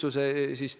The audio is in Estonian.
Aitäh!